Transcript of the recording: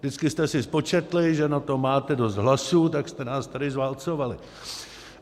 Vždycky jste si spočetli, že na to máte dost hlasů, tak jste nás tady zválcovali.